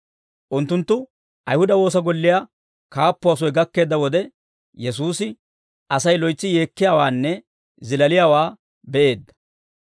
Unttunttu Ayihuda woosa golliyaa kaappuwaa soy gakkeedda wode, Yesuusi Asay loytsi yeekkiyaawaanne zilaaliyaawaa be'eedda.